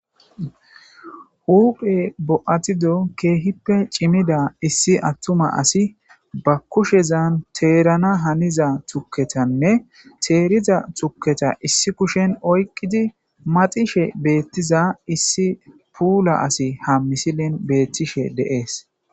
Hude bo'atido keehippe cimida issi attuma asi ba kushezan teerana haniza tukketanne teeriza tukketa issi kushen oyqqidi maxishe beettiza issi puula asi ha misilin beettishe deees